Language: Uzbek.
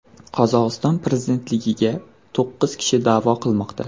Qozog‘iston prezidentligiga to‘qqiz kishi da’vo qilmoqda.